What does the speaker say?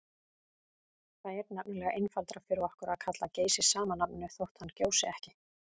Það er nefnilega einfaldara fyrir okkur að kalla Geysi sama nafninu þótt hann gjósi ekki.